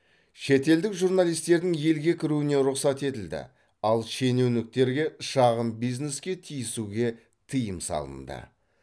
шетелдік журналистердің елге кіруіне рұқсат етілді ал шенеуніктерге шағын бизнеске тиісуге тыйым салынды